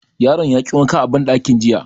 Yaron ya ki wanka a banɗakin jiya